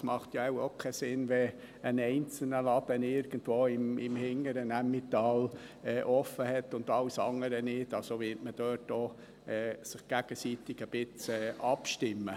Es macht ja wohl keinen Sinn, wenn ein einzelner Laden im hinteren Emmental offen ist und alle anderen nicht, also wird man sich ein Stück weit aufeinander abstimmen.